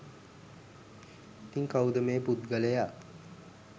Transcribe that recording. ඉතින් කවුද මේ පුද්ගලයා